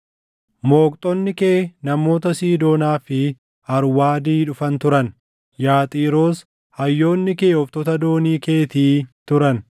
Mooqxonni kee namoota Siidoonaa fi Arwaadii dhufan turan; yaa Xiiroos hayyoonni kee ooftota doonii keetii turan.